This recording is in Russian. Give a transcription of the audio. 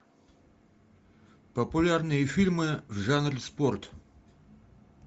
популярные фильмы в жанре спорт